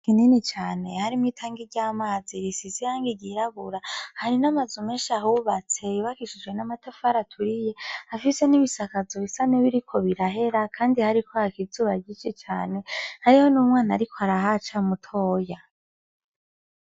Kinini cane harimwo itangi ry'amazi risize ibara ry'irabura, hari n'amazu menshi ahubatse, yubakishijwe n'amatafari aturiye, afise n'ibisakazo bisa n'ibiriko birahera, kandi hariko haka izuba ryinshi cane, hariho n'umwana ariko arahaca mutoya.